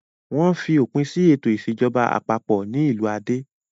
Wọ́n fi òpin sí ètò ìṣèjọba àpapọ̀ ní ìlú Ade.